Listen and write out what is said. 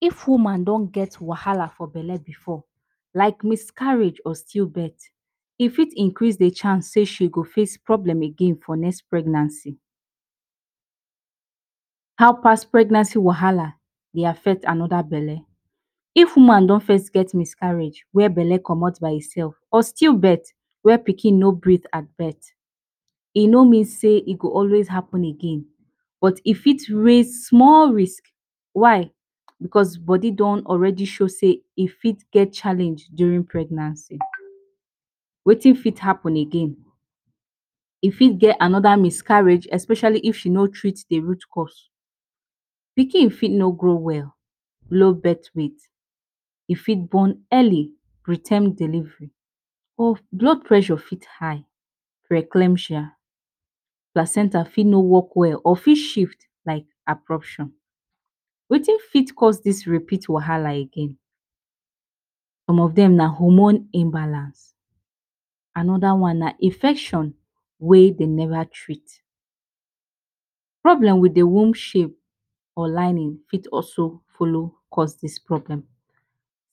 If woman don get wahala for belle before, like miscarriage or stillbirth, e fit increase d chance sey she go face problem again for next pregnancy. How past pregnancy wahala, dey affect another belle. If woman don first get miscarriage, where belle commot by hin self, or stillbirth, where pikin no breath at birth. E no mean say e go always happen again, but if it raise small risk. Why? Because Body don alreadi get challenge during pregnancy. Wetin fit happen again. If e get another miscarriage especially if she no treat the root cause. Pikin fit not grow well. Low birth weight. She fit born early, preterm delivery. Or blood pressure fit high, Preclampsia, Placenta fit no work well or fit shift like abruption. Wetin fit cause dis make e happen again. Some of dem na hormone imbalance. Anoda one na infection wey dey never treat, Problem with d womb shape or lining fit also follow cause dis problem.